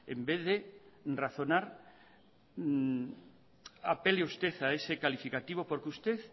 en vez de razonar apele usted a ese calificativo porque usted